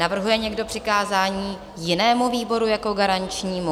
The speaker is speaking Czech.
Navrhuje někdo přikázání jinému výboru jako garančnímu?